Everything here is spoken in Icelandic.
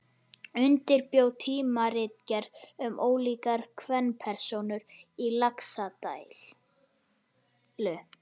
Undirbjó tímaritgerð um ólíkar kvenpersónur í Laxdælu.